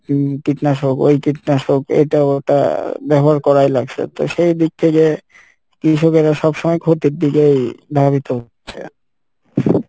উম কীটনাশক ওই কীটনাশক এটা ওটা ব্যবহার করাই লাগসে তো সেই দিক থেকে কৃষকেরা সব সময় ক্ষতির দিকেই ধাবিত হচ্ছে।